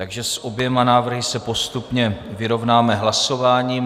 Takže s oběma návrhy se postupně vyrovnáme hlasováním.